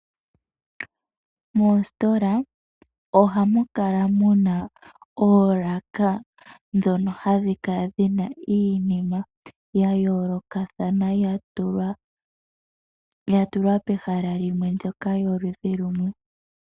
Moositola ohamu kala muna oolaka ndhono hadhi kala dhina iinima mbyono yayoolokathana yatulwa pehala limwe ndyoka yoludhi lumwe.